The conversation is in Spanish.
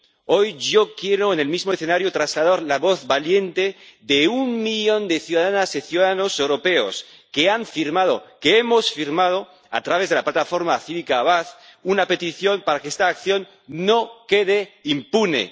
Hoy yo quiero en el mismo escenario trasladar la voz valiente de un millón de ciudadanas y ciudadanos europeos que han firmado —que hemos firmado—, a través de la plataforma cívica Avaaz, una petición para que esta acción no quede impune.